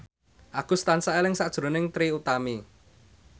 Agus tansah eling sakjroning Trie Utami